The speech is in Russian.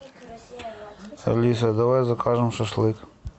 алиса давай закажем шашлык